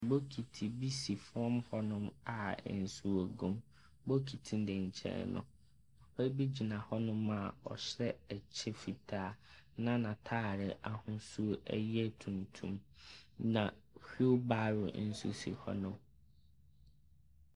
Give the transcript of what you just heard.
Bokiti bi si fam hɔnom a nsuo gum. Bokiti ne nkyɛn no, papa bi gyina hɔnom a ɔhyɛ ɛkyɛ fitaa, na n'ataade ahosuo yɛ tuntum. Na hwilbaro nso si hɔnom.